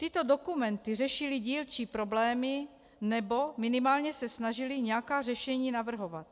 Tyto dokumenty řešily dílčí problémy, nebo minimálně se snažily nějaká řešení navrhovat.